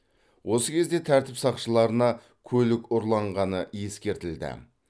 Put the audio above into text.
осы кезде тәртіп сақшыларына көлік ұрланғаны ескертілді